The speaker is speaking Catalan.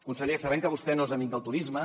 conseller sabem que vostè no és amic del turisme